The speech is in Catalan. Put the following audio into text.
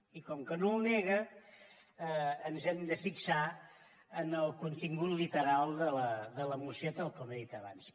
i com que no ho nega ens hem de fixar en el contingut literal de la moció tal com he dit abans